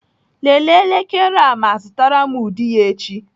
Lelee elekere a ma zụtara m ụdị ya echi.